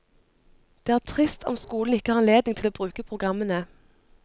Det er trist om skolen ikke har anledning til å bruke programmene.